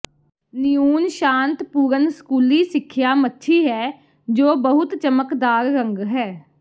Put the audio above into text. neon ਸ਼ਾਂਤਪੂਰਨ ਸਕੂਲੀ ਸਿੱਖਿਆ ਮੱਛੀ ਹੈ ਜੋ ਬਹੁਤ ਚਮਕਦਾਰ ਰੰਗ ਹੈ